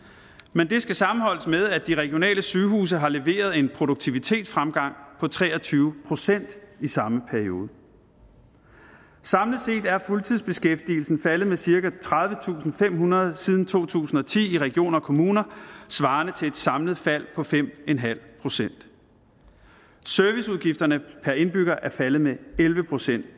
men det skal sammenholdes med at de regionale sygehuse har leveret en produktivitetsfremgang på tre og tyve procent i samme periode samlet set er fuldtidsbeskæftigelsen faldet med cirka tredivetusinde og femhundrede siden to tusind og ti i regioner og kommuner svarende til et samlet fald på fem procent serviceudgifterne per indbygger er faldet med elleve procent